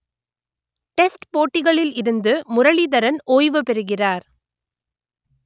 test போட்டிகளில் இருந்து முரளிதரன் ஓய்வு பெறுகிறார்